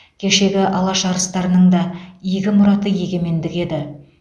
кешегі алаш арыстарының да игі мұраты егемендік еді